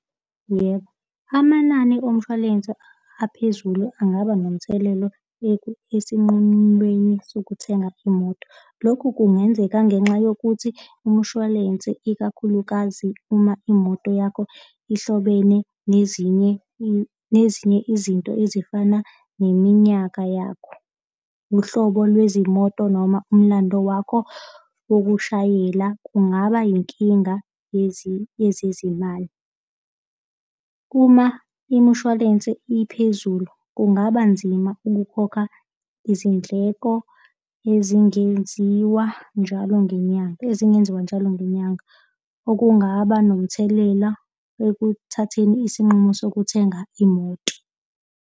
Yebo, amanani omshwalense aphezulu angaba nomthelelo esinqemeni sokuthenga imoto. Lokhu kungenzeka ngenxa yokuthi umshwalense ikakhulukazi uma imoto yakho ihlobene nezinye nezinye izinto ezifana neminyaka yakho. Uhlobo lwezimoto noma umlando wakho wokushayela kungaba yinkinga yezezimali. Uma imishwalense iphezulu kungaba nzima ukukhokha izindleko ezingenziwa njalo ngenyanga, ezingenziwa njalo ngenyanga okungaba nomthelela ekuthatheni isinqumo sokuthenga imoto.